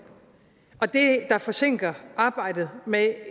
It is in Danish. og det der forsinker arbejdet med